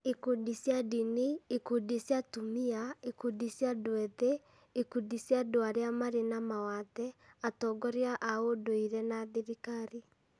ikundi cia ndini, ikundi cia atumia, ikundi cia andũ ethĩ, ikundi cia andũ arĩa marĩ na mawathe, atongoria a ũndũire na thirikari,